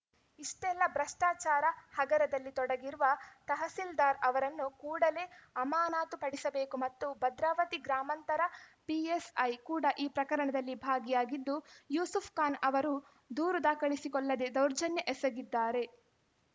ಇಷ್ಟೆಲ್ಲ ಭ್ರಷ್ಟಾಚಾರ ಹಗರದಲ್ಲಿ ತೊಡಗಿರುವ ತಹಸೀಲ್ದಾರ್‌ ಅವರನ್ನು ಕೂಡಲೇ ಅಮಾನಾತುಪಡಿಸಬೇಕು ಮತ್ತು ಭದ್ರಾವತಿ ಗ್ರಾಮಾಂತರ ಪಿ ಎಸ್‌ ಐ ಕೂಡ ಈ ಪ್ರಕರಣದಲ್ಲಿ ಭಾಗಿಯಾಗಿದ್ದು ಯೂಸೂಫ್‌ ಖಾನ್‌ ಅವರ ದೂರು ದಾಖಲಿಸಿಕೊಳ್ಳದೇ ದೌರ್ಜನ್ಯ ಎಸಗಿದ್ದಾರೆ